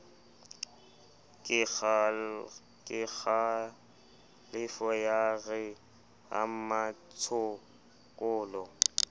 kekgalefo ya re ha mmatshokolo